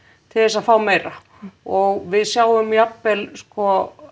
til þess að fá meira og við sjáum jafnvel sko